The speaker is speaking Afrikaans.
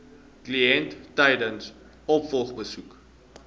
kliënt tydens opvolgbesoeke